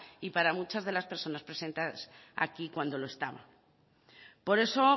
y para muchas de las personas presentes aquí cuando lo estaba por eso